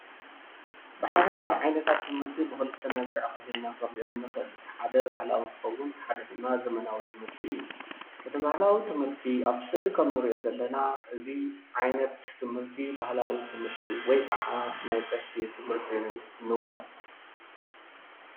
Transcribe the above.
ብሓፈሻ ዓይነታታት ትምህርቲ ኣብ ክልተ ከፊልና ክንሪኦም ንኽእል ኢና። እታ ሓደ ባህላዋ እንትኸውን እቲ ሓደ ድማ ዘመናዊ እዩ። እቲ እንሪኦ ዘለና ባህላዊ ትምህርቲ ኸዓ ናይ ቀሺ እንብሎ።